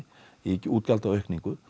í útgjaldaaukningu